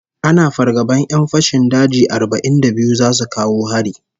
Ana fargaban 'yan fashin daji arba'in da biyu zasu kawo hari